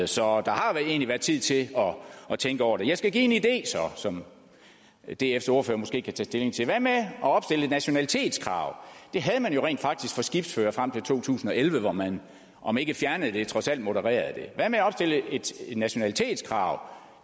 så der har egentlig været tid til at tænke over det jeg skal så give en idé som dfs ordfører måske kan tage stilling til hvad med at opstille et nationalitetskrav det havde man jo rent faktisk for skibsførere frem til to tusind og elleve hvor man om ikke fjernede det så trods alt modererede det hvad med at opstille et nationalitetskrav